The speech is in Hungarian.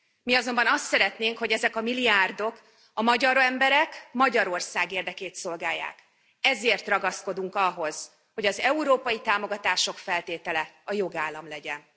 Mi azonban azt szeretnénk, hogy ezek a milliárdok a magyar emberek, Magyarország érdekét szolgálják, ezért ragaszkodunk ahhoz, hogy az európai támogatások feltétele a jogállam legyen.